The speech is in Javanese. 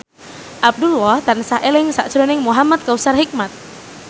Abdullah tansah eling sakjroning Muhamad Kautsar Hikmat